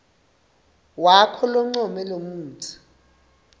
wakho loncome lemitsi